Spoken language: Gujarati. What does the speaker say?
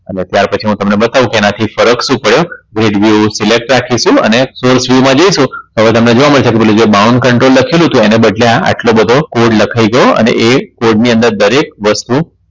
અને ત્યાર પછી હું તમને બતાવું કે એનાથી ફરક શું પડે red View select રાખીશું અને Source view માં જઈશુ હવે તમને જોવા મળશે કે પેલું જે Bounce control લખેલું હતું એને બદલે આટલો બધો code લખાય ગયો અને એ code ની અંદર દરેક વસ્તુ